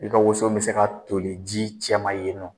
I ka woson mi se ka toli ji cɛman yen nɔ